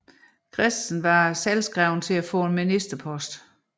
Christensen var selvskreven til at få en ministerpost